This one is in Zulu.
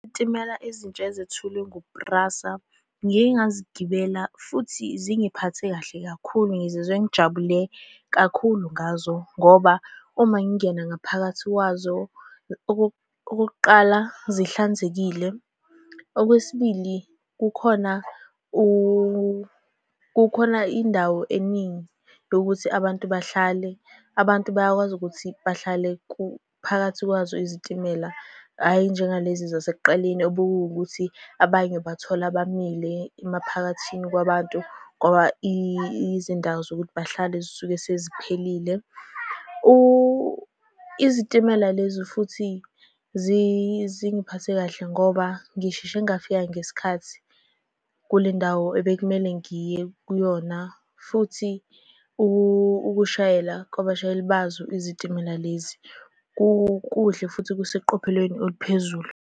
Izitimela ezintsha ezethulwe ngu-PRASA, ngike ngazigibela futhi zingiphathe kahle kakhulu. Ngizizwe ngijabule kakhulu ngazo, ngoba uma ngingena ngaphakathi kwazo, okokuqala, zihlanzekile. Okwesibili, kukhona kukhona indawo eningi yokuthi abantu bahlale. Abantu bayakwazi ukuthi bahlale phakathi kwazo izitimela, hhayi njengalezi zasekuqaleni, obekuwukuthi abanye ubathola bamile emaphakathini kwabantu, ngoba izindawo zokuthi bahlale zisuke seziphelile. Izitimela lezo, futhi zingiphethe kahle ngoba ngisheshe ngafika ngesikhathi kule ndawo ebekumele ngiye kuyona. Futhi ukushayela kwabashayeli bazo izitimela lezi, kuhle futhi kuseqophelweni eliphezulu.